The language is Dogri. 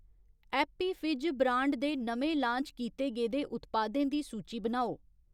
एप्पी फिज ब्रांड दे नमें लान्च कीते गेदे उत्पादें दी सूची बनाओ ?